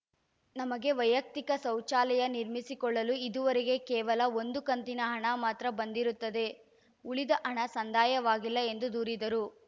ನಮಗೆ ವೈಯಕ್ತಿಕ ಶೌಚಾಲಯ ನಿರ್ಮಿಸಿಕೊಳ್ಳಲು ಇದುವರೆಗೆ ಕೇವಲ ಒಂದು ಕಂತಿನ ಹಣ ಮಾತ್ರ ಬಂದಿರುತ್ತದೆ ಉಳಿದ ಹಣ ಸಂದಾಯವಾಗಿಲ್ಲ ಎಂದು ದೂರಿದರು